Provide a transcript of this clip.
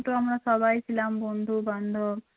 আমরা সবাই ছিলাম বন্ধু বান্ধব সবাই